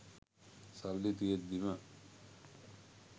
සල්ලි තියෙද්දිම